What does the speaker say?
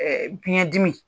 bɲɛ dimi